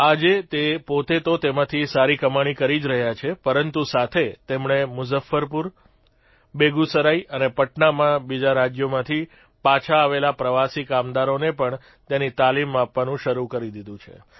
આજે તે પોતે તો તેમાંથી સારી કમાણી કરી જ રહ્યા છે પરંતુ સાથે તેમણે મુઝફ્ફપુર બેગુસરાઇ અને પટનામાં બીજા રાજયોમાંથી પાછા આવેલા પ્રવાસી કામદારોને પણ તેની તાલીમ આપવાનું શરૂ કરી દીધું છે